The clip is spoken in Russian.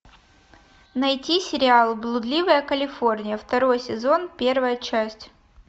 найти сериал блудливая калифорния второй сезон первая часть